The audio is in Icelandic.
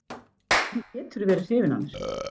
Hvernig geturðu verið hrifinn af mér?